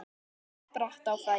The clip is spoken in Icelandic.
Ég spratt á fætur.